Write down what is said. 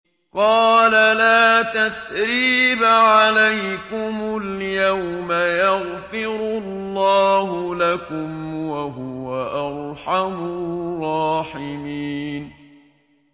قَالَ لَا تَثْرِيبَ عَلَيْكُمُ الْيَوْمَ ۖ يَغْفِرُ اللَّهُ لَكُمْ ۖ وَهُوَ أَرْحَمُ الرَّاحِمِينَ